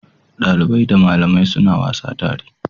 Dalibai da malamai suna wasa tare.